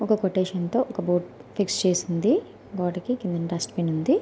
ఒక కొటేషన్ తో ఒక బోర్డు ఫిక్స్ చేసి ఉంది. గోడకి కిందన డస్ట్బిన్ ఉంది.